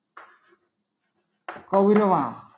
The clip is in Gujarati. કૌરવા